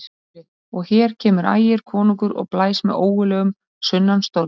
SKÚLI: Og hér kemur Ægir konungur og blæs með ógurlegum sunnanstormi.